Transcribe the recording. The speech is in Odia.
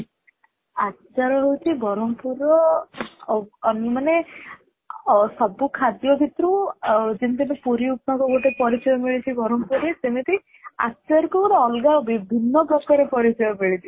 ଆଚାର ହଉଛି ବରମପୁର ର ମାନେ ସବୁ ଖାଦ୍ୟ ଭିତରୁ ଯେମିତି ଆମେ ପୁରୀ, ଉପମା କୁ ଗୋଟେ ପରିଚୟ ମିଳିଛି ବରମପୁର ରେ ସେମିତି ଆଚାର କୁ ଗୋଟେ ଅଲଗା ଭିନ୍ନ ପ୍ରକାର ପରିଚୟ ମିଳିଛି ସେଇଠି